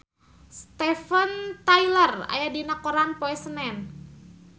Steven Tyler aya dina koran poe Senen